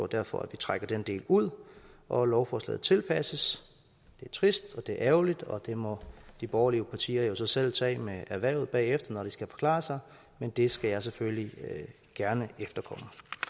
derfor at vi trækker den del ud og at lovforslaget tilpasses det er trist og det er ærgerligt og det må de borgerlige partier jo så selv tage med erhvervet bagefter når de skal forklare sig men det skal jeg selvfølgelig gerne efterkomme